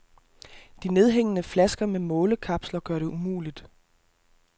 De nedhængende flasker med målekapsler gør det umuligt.